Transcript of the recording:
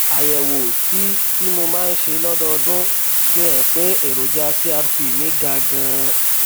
àyẹwò tí tí mo máa ń ṣe lọdọọdún fi hàn pé èròjà crp mi ga ganan